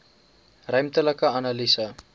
ruimtelike analise